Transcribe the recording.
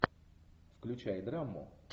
включай драму